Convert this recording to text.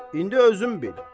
İndi özün bil.